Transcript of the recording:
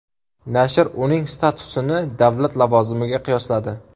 Nashr uning statusini davlat lavozimiga qiyosladi.